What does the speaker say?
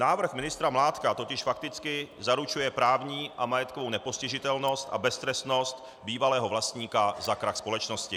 Návrh ministra Mládka totiž fakticky zaručuje právní a majetkovou nepostižitelnost a beztrestnost bývalého vlastníka za krach společnosti.